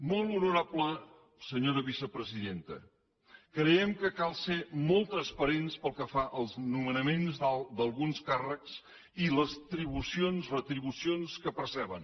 molt honorable senyora vicepresidenta creiem que cal ser molt transparents pel que fa als nomenaments d’alguns càrrecs i les retribucions que perceben